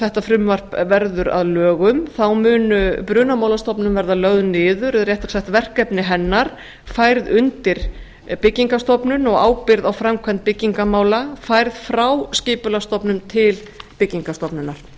þetta frumvarp verður að lögum þá mun brunamálastofnun verða lögð niður eða réttara sagt verkefni hennar færð undir byggingarstofnun og ábyrgð á framkvæmd byggingarmála færð frá skipulagsstofnun til byggingarstofnunar